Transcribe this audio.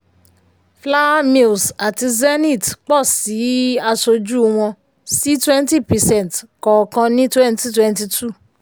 flour mills àti zenith pọ̀si aṣojú wọn sí twenty percent kọọkan ní twenty twenty two.